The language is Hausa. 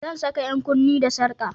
Zan saka 'yan kunne da sarka